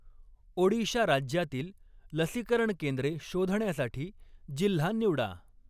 ओडिशा राज्यातील लसीकरण केंद्रे शोधण्यासाठी जिल्हा निवडा.